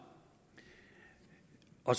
og